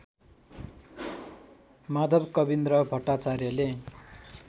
Madhav Kavindra भट्टाचार्यले